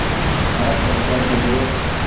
आह चंपा चलो